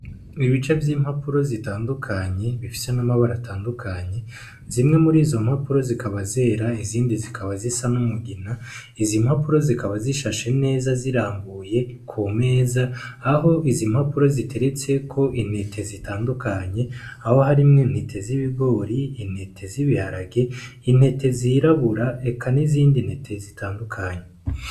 Ibice vy'impapuro zitandukanye bifisa n'amabara atandukanye, zimwe muri izo mpapuro zikaba zera izindi zikaba zisa n'umugina izimpapuro zikaba zishashe neza zirambuye ku meza aho izo mpapuro ziteretseko inete zitandukanye, aho harimwo intete z'ibigori, inete zibiharage, intete zirabura eka n'izindi ntete zitandukanye.